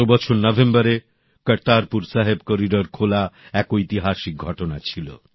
গত বছর নভেম্বরে কারতারপুর সাহেব করিডর খোলার ঐতিহাসিক ঘটনা হয়েছিল